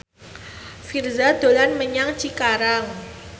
Virzha dolan menyang Cikarang